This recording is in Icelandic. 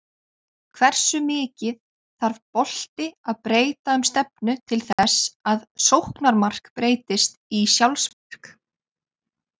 Hversu mikið þarf bolti að breyta um stefnu til þess að sóknarmark breytist í sjálfsmark?